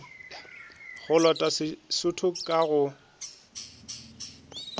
go lota sesotho ka go